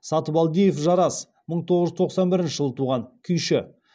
сатыбалдиев жарас мың тоыз жүз тоқсан бірінші жылы туған күйші